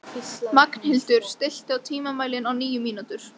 Magnhildur, stilltu tímamælinn á níu mínútur.